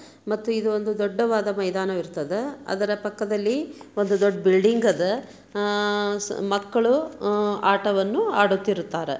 ಮತ್ತು ಇದ್ ಒಂದು ದೊಡ್ಡವಾದ ಮೈದಾನ ಇರ್ತದೆ ಅದರ ಪಕ್ಕ ದಲ್ಲಿ ಒಂದ್ ದೊಡ್ದು ಬಿಲ್ಡಿಂಗ್ ಇದು ಮಕ್ಕಳು ಆಟವನ್ನು ಆಡುತಿರುತ್ತಾರೆ.